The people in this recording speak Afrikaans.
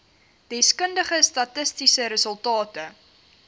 deskundige statistiese resultate